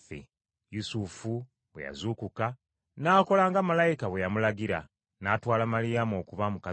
Yusufu bwe yazuukuka, n’akola nga Malayika bwe yamulagira, n’atwala Maliyamu okuba mukazi we.